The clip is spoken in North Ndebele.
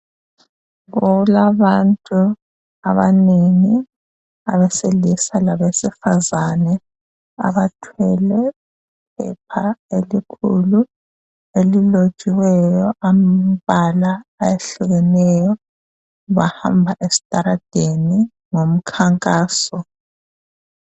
Kulabantu abanengi abesilisa labesifazane abathwele iphepha elikhulu elilotshiweyo amabala ahlukeneyo. Bahamba esitaladeni ngomkhankaso.